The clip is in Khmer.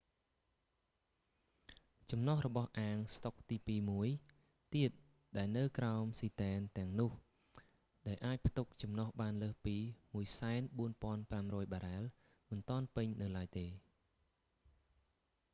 ចំណុះរបស់អាងស្តុកទីពីរមួយទៀតដែលនៅក្រោមស៊ីទែនទាំងនោះដែលអាចផ្ទុកចំណុះបានលើសពី 104500 បារ៉ែលមិនទាន់ពេញនៅឡើយទេ